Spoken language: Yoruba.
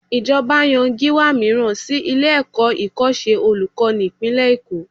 Ìjọba yan Gíwá mìíràn sí ilé-ẹ̀kọ́ ìkọ́ṣẹ́ olùkọ́ni ìpínlẹ̀ Èkó